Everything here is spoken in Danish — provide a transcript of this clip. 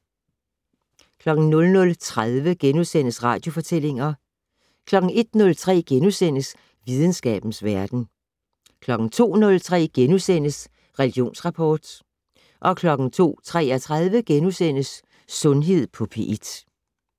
00:30: Radiofortællinger * 01:03: Videnskabens Verden * 02:03: Religionsrapport * 02:33: Sundhed på P1 *